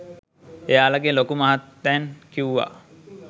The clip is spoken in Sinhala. එයාලගෙ ලොකු මහත්තැන් කිවුවා